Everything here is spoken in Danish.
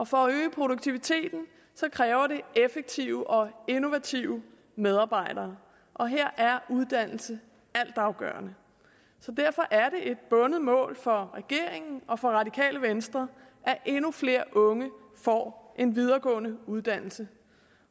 for at øge produktiviteten kræver det effektive og innovative medarbejdere og her er uddannelse altafgørende derfor er et bundet mål for regeringen og for radikale venstre at endnu flere unge får en videregående uddannelse